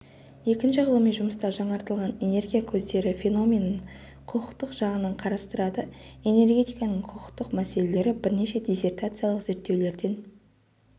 екінші ғылыми жұмыста жаңартылатын энергия көздері феноменін құқықтық жағынан қарастырады энергетиканың құқықтық мәселелері бірнеше диссертациялық зерттеулерден